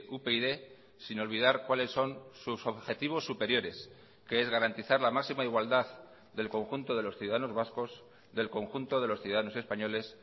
upyd sin olvidar cuáles son sus objetivos superiores que es garantizar la máxima igualdad del conjunto de los ciudadanos vascos del conjunto de los ciudadanos españoles